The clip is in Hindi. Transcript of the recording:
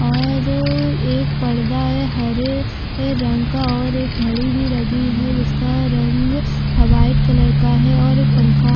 और एक पर्दा है हरे-हरे रंग का और एक घड़ी भी लगी है जिसका रंग वाइट कलर का है और एक पंखा --